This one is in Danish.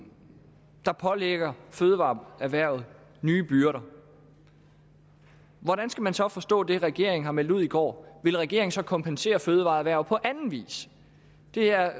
der pålægger fødevareerhvervet nye byrder hvordan skal man så forstå det regeringen har meldt ud i går vil regeringen så kompensere fødevareerhvervet på anden vis det er